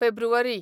फेब्रुवारी